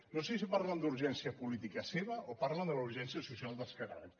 no sé si parlen d’urgència política seva o parlen de la urgència social dels catalans